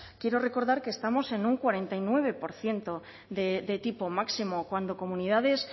quiero recordar que estamos en un cuarenta y nueve por ciento de tipo máximo cuando comunidades